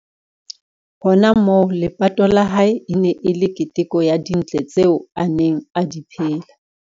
Hona moo, lepato la hae e ne e le keteko ya dintle tseo a neng a di phelela.